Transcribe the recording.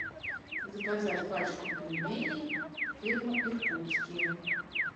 заказать пачку пельменей фирма иркутские